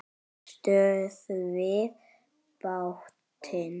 STÖÐVIÐ BÁTINN!